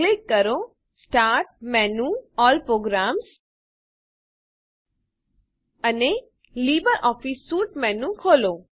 click કરો start menu જીટીજીટી all programs અને લિબ્રિઓફિસ સ્યુટ મેનું ખોલો